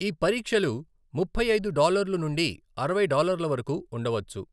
ఈ పరీక్షలు ముప్పై ఐదు డాలర్లు నుండి అరవై డాలర్ల వరకు ఉండవచ్చు.